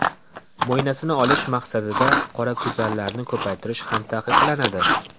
Mo‘ynasini olish maqsadida qorakuzanlarni ko‘paytirish ham taqiqlanadi.